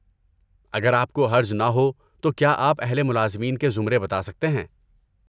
اگر آپ کو حرج نہ ہو تو کیا آپ اہل ملازمین کے زمرے بتا سکتے ہیں؟